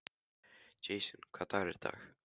Jason, hvaða dagur er í dag?